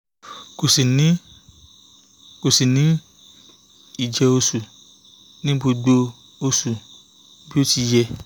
kò ṣì ní kò ṣì ní ìjẹ́ oṣù ní gbogbo oṣù bí ó ti yẹ